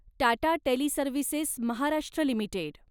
Tata Teleservices Maharashtra limited